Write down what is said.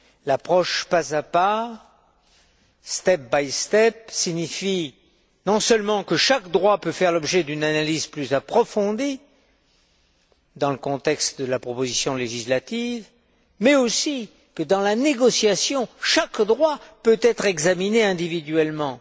L'approche pas à pas signifie non seulement que chaque droit peut faire l'objet d'une analyse plus approfondie dans le contexte de la proposition législative, mais aussi que, dans la négociation, chaque droit peut être examiné individuellement.